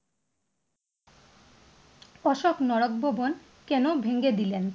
অশোক বন কেন ভেঙ্গে দিলেন?